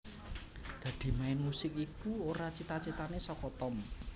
Dadi main musik iku ora cita citane saka Tom